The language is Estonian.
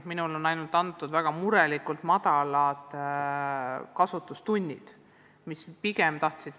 Minule on väga murelikult edasi antud info, et neid tõlke on vähe kasutatud.